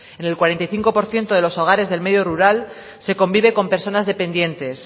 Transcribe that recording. en el cuarenta y cinco por ciento de los hogares del medio rural se convive con personas dependientes